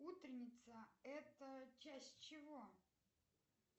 утренница это часть чего